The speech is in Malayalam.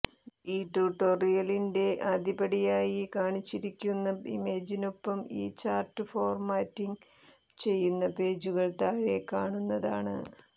ഈ ട്യൂട്ടോറിയലിന്റെ ആദ്യപടിയായി കാണിച്ചിരിക്കുന്ന ഇമേജിനൊപ്പം ഈ ചാർട്ട് ഫോർമാറ്റിംഗ് ചെയ്യുന്ന പേജുകൾ താഴെക്കാണുന്നതാണ്